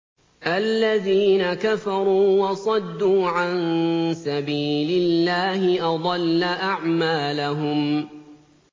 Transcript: الَّذِينَ كَفَرُوا وَصَدُّوا عَن سَبِيلِ اللَّهِ أَضَلَّ أَعْمَالَهُمْ